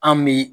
An bɛ